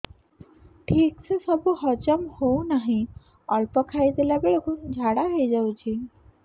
ଠିକସେ ସବୁ ହଜମ ହଉନାହିଁ ଅଳ୍ପ ଖାଇ ଦେଲା ବେଳ କୁ ଝାଡା ହେଇଯାଉଛି